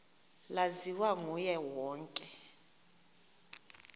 laziwa nguye wonke